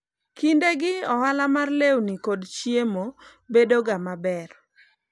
kinde gi ohala mar lewni kod chiemo bedoga maber